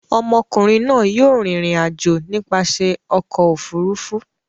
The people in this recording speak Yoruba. Ọmọkùnrin náà yóò rìnrìn-àjò nípasẹ̀ ọkọ̀-òfurufú.